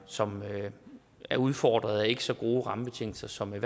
som er udfordret og ikke har så gode rammebetingelser som det